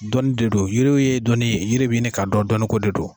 Dɔnni de don, yiriw ye dɔnni ye yiri be ɲini ka dɔn . Dɔnni ko de don.